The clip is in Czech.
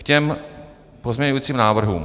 K těm pozměňovacím návrhům.